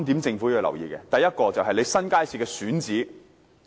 政府要留意3點，第一，是新街市的選址。